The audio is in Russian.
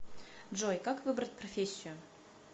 джой как выбрать профессию